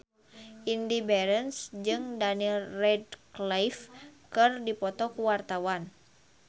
Indy Barens jeung Daniel Radcliffe keur dipoto ku wartawan